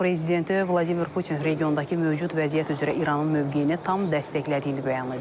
Rusiya prezidenti Vladimir Putin regiondakı mövcud vəziyyət üzrə İranın mövqeyini tam dəstəklədiyini bəyan edib.